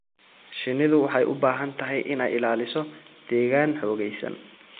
Shinnidu waxay u baahan tahay inay ilaaliso deegaan xoogaysan.